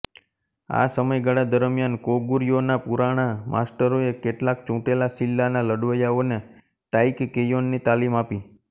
આ સમયગાળા દરમ્યાન કોગુર્યોના પુરાણા માસ્ટરોએ કેટલાક ચૂંટેલા સિલ્લાના લડવૈયાઓને તાઈકકેયોન ની તાલીમ આપી